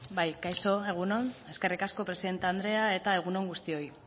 bai kaixo egun on eskerrik asko presidente anderea eta egun on guztioi